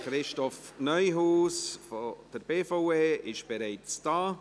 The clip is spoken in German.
Christoph Neuhaus, Vorsteher der BVE, ist bereits im Haus.